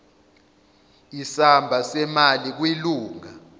isamba semali kwilunga